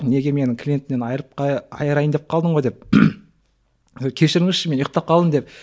неге менің клиентімнен айырып айырайын деп қалдың ғой деп кешіріңізші мен ұйқтап қалдым деп